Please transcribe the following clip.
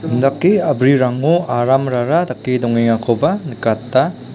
indake a·brirango aramrara dake dongengakoba nikata.